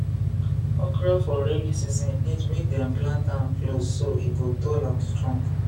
okra for rainy season need make dem plant am close so e go tall and strong